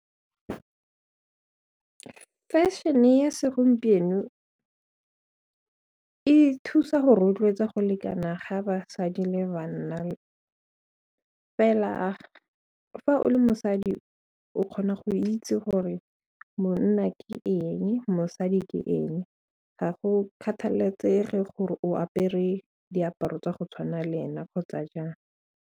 Fashion-e ya segompieno e thusa go rotloetsa go lekana ga basadi le banna fela fa o le mosadi o kgona go itse gore monna ke eng, mosadi ke eng ga go kgathalesege gore o apere diaparo tsa go tshwana le ena kgotsa jang.